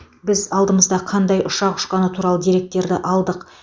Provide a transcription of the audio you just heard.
біз алдымызда қандай ұшақ ұшқаны туралы деректерді алдық